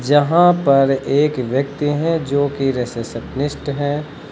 यहां पर एक व्यक्ति हैं जो कि रिसेप्शनिस्ट हैं।